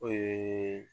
O ye